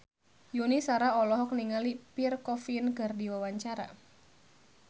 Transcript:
Yuni Shara olohok ningali Pierre Coffin keur diwawancara